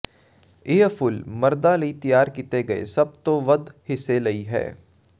ਇਹ ਫੁੱਲ ਮਰਦਾਂ ਲਈ ਤਿਆਰ ਕੀਤੇ ਗਏ ਸਭ ਤੋਂ ਵੱਧ ਹਿੱਸੇ ਲਈ ਹੈ